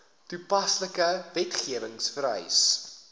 toepaslike wetgewing vereis